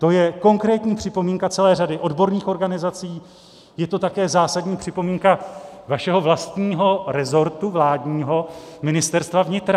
To je konkrétní připomínka celé řady odborných organizací, je to také zásadní připomínka vašeho vlastního resortu vládního - Ministerstva vnitra.